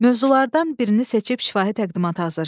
Mövzulardan birini seçib şifahi təqdimat hazırlayın.